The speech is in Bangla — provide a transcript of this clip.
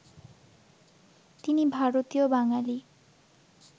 তিনি ভারতীয় বাঙালি